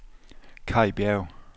Kai Bjerg